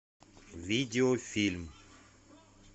видеофильм